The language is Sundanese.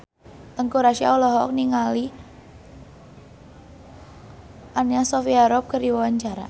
Teuku Rassya olohok ningali Anna Sophia Robb keur diwawancara